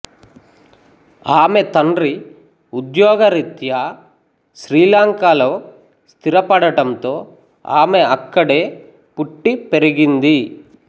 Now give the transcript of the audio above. ఆమె తండ్రి ఉద్యోగ రీత్యా శ్రీలంకలో స్థిరపడటంతో ఆమె అక్కడే పుట్టి పెరిగింది